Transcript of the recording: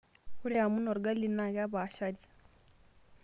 Ore amun orgali naa kepaashari.